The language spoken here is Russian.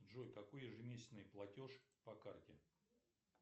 джой какой ежемесячный платеж по карте